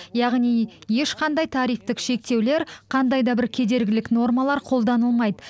яғни ешқандай тарифтік шектеулер қандай да бір кедергілік нормалар қолданылмайды